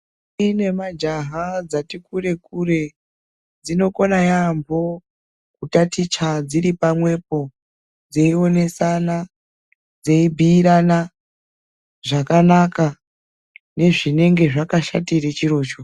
Inemajaha dzati kure kure , dzinokona yambo kutaticha dziripamwepo. Dzeyiwonesana, dzeyibiyirana zvakanaka nezvinenge zvakashatire chirocho.